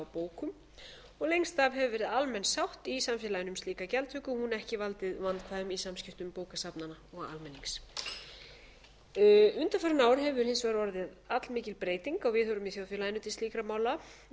bókum og lengst af hefur verið almenn sátt í samfélaginu um slíka gjaldtöku og hún ekki valdið vandkvæðum í samskiptum bókasafnanna og almennings undanfarin ár hefur hins vegar orðið allmikil breyting á viðhorfum í þjóðfélaginu til slíkra mála og